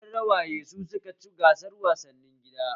Gidan rawaye su suka ci gasar wasannin gida